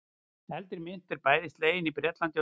Eldri mynt var bæði slegin í Bretlandi og Danmörku.